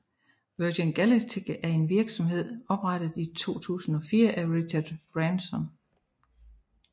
Virgin Galactic er en virksomhed oprettet i 2004 af Richard Branson